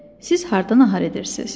Siz hardan nahar edirsiz?